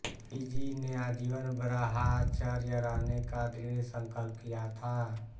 जीजी ने आजीवन ब्रहाचर्य रहने का दृढ संकल्प किया था